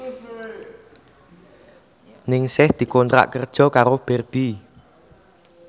Ningsih dikontrak kerja karo Barbie